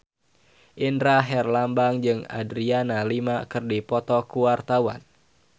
Indra Herlambang jeung Adriana Lima keur dipoto ku wartawan